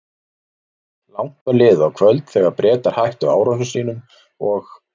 Langt var liðið á kvöld, þegar Bretar hættu árásum sínum og